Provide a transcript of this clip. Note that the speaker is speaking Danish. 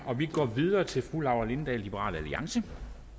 og vi går videre til fru laura lindahl liberal alliance